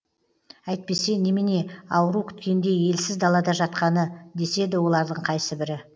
әйтпесе немене ауру күткендей елсіз далада жатқаны деседі олардың қайсыбірі